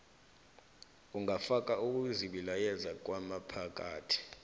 angafaka ukuzibilayeza kwangaphakathi